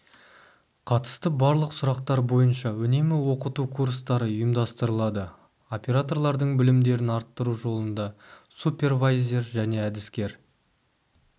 қатысты барлық сұрақтар бойынша үнемі оқыту курстары ұйымдастырылады операторлардың білімдерін арттыру жолында супервайзер және әдіскер